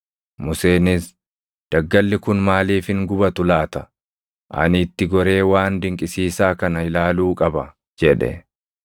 Museenis, “Daggalli kun maaliif hin gubatu laata? Ani itti goree waan dinqisiisaa kana ilaaluu qaba” jedhe.